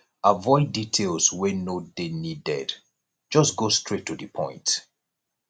avoid details wey no dey needed just go straight to di point